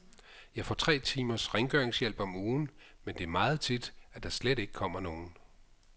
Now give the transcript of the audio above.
Jeg får tre timers rengøringshjælp om ugen, men det er meget tit, at der slet ikke kommer nogen.